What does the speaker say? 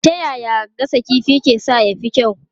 Ta yaya gasa kifi ke sa ya fi kyau?